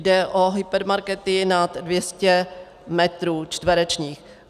Jde o hypermarkety nad 200 metrů čtverečních.